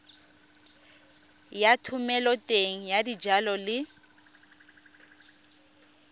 ya thomeloteng ya dijalo le